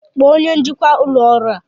Kpọọ onye njikwa ụlọ ọrụ a!